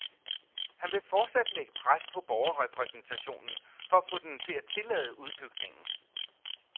Han vil fortsat lægge pres på borgerrepræsentationen for at få den til at tillade udbygningen.